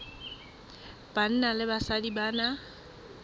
banna le basadi ba na